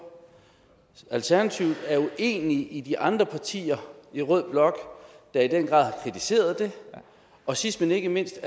alternativet er uenig med de andre partier i rød blok der i den grad har kritiseret det og sidst men ikke mindst